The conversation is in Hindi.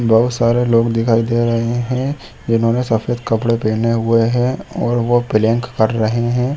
बहुत सारे लोग दिखाई दे रहा है जिन्होंने ने सफ़ेद कपड़े पहने हुए है और वो प्लैंक कर रहै है।